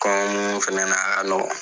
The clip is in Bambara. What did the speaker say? fɛnɛ,a ka nɔgɔ.